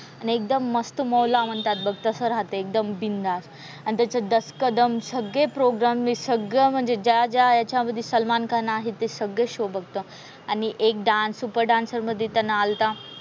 आणि एकदम मस्तमौला म्हणतात बघ तसं राहते एकदम बिनधास्त. आणि त्याचे दस का दम सगळे प्रोग्राम म्हणजे सगळं म्हणजे ज्या ज्या ह्याच्यामधी सलमान खान आहे ते सगळे शो बघतो. आणि एक डान्स सुपर डान्सर मधे त्याने आलता.